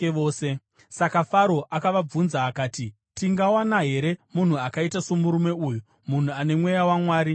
Saka Faro akavabvunza akati, “Tingawana here munhu akaita somurume uyu, munhu ane mweya waMwari maari?”